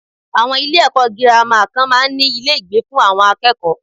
Àwon Ilé èkó girama kan máa n ní Ilé ìgbé fún àwon akéèkó